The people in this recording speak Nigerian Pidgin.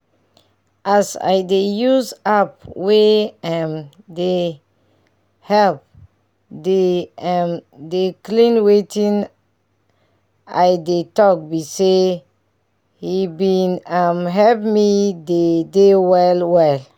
as i dey use app wey um dey help dey um dey clean wetin i dey talk bi say he bin um help me dey dey well well